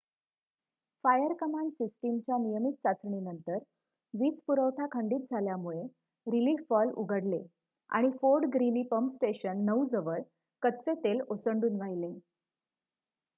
fire command सिस्टमच्या नियमित चाचणीनंतर वीज पुरवठा खंडीत झाल्यामुळे रीलिफ वॉल्व उघडले आणि फोर्ड ग्रीली पम्प स्टेशन ९ जवळ कच्चे तेल ओसंडून वाहिले